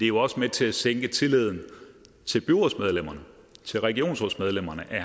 jo også med til at sænke tilliden til byrådsmedlemmerne til regionsrådsmedlemmerne at